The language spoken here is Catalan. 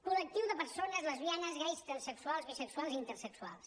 col·lectiu de persones lesbianes gais transsexuals bisexuals i intersexuals